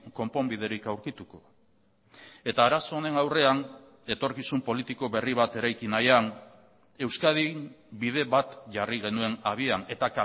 konponbiderik aurkituko eta arazo honen aurrean etorkizun politiko berri bat eraiki nahian euskadin bide bat jarri genuen abian eta